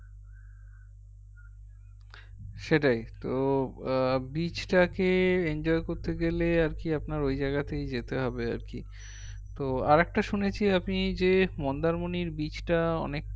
সেটাই তো আহ beach টাকে enjoy করতে গেলে আর কি আপনার ঐজায়গাতেই যেতে হবে আর কি তো আরেকটা শুনেছি আমি যে মন্দারমণির beach টা অনেক